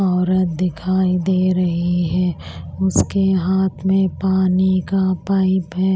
औरत दिखाई दे रही है उसके हाथ में पानी का पाइप है।